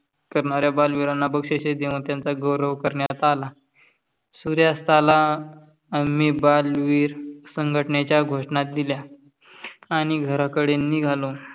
करणाऱ्य बलविराना बक्षिसे देऊन त्यांचा गौरव करण्यात आला. सुरयास्थाला आम्ही बलविर संघटनेची घोषणा दिल्या आणि घरा कडे निघालो.